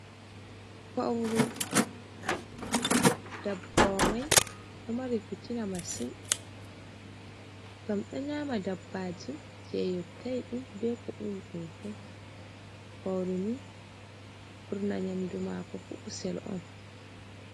Fowru ndabbawa mai ɗo mari fittina masin ngam ɗo nyaama dabbaji jey yottai ɗum bee ko ɓuri dum fuu, fowru nii ɓurna nyamdu maako fuu kusel on.